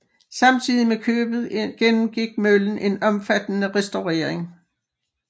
Samtidig med købet gennemgik møllen en omfattende restaurering